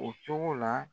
O cogo la